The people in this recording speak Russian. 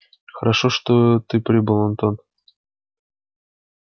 хорошо что ты прибыл антон